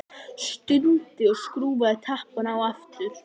Stundi og skrúfaði tappann á aftur.